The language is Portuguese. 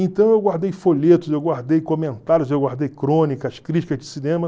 Então, eu guardei folhetos, eu guardei comentários, eu guardei crônicas, críticas de cinema.